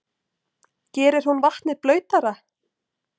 Gerir hún vatnið blautara?